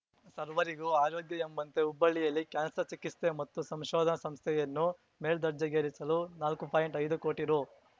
ಸರ್ವರಿಗೂ ಆರೋಗ್ಯ ಎಂಬಂತೆ ಹುಬ್ಬಳ್ಳಿಯಲ್ಲಿ ಕ್ಯಾನ್ಸರ್ ಚಿಕಿಸ್ತೆ ಮತ್ತು ಸಂಶೋಧನಾ ಸಂಸ್ಥೆಯನ್ನು ಮೇಲ್ದರ್ಜೆಗೇರಿಸಲು ನಾಲ್ಕು ಪಾಯಿಂಟ್ಐದು ಕೋಟಿ ರೂ